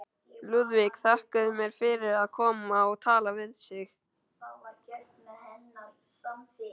Lúðvík þakkaði mér fyrir að koma og tala við sig.